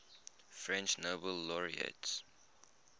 french nobel laureates